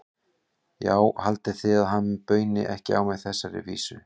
Já, haldið þið að hann bauni ekki á mig þessari vísu?